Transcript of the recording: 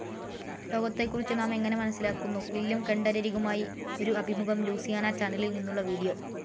ലോകത്തെക്കുറിച്ചു നാം എങ്ങനെ മനസ്സിലാക്കുന്നു. വില്യം കെൻ്റഡരികുമായി ഒരു അഭിമുഖം ലൂസിയാന ചാനലിൽ നിന്നുള്ള വീഡിയോ